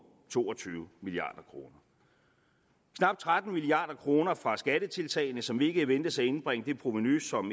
to og tyve milliard kroner knap tretten milliard kroner fra skattetiltagene som ikke ventes at indbringe det provenu som